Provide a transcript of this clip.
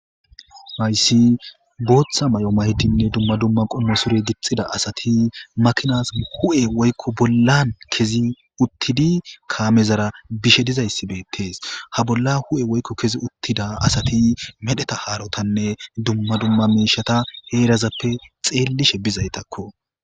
Aysi booththa may'o maydinne dumma dumma qonno sure gixxida asati makinaas hu'e woykko bollan kezi uttidi kaamezara bishe dizayssi beettees ha bolla hu'e woykko kezi uttida asati medheta haarotanne dumma dumma miishata heerazappe xeellishe bizaytakko.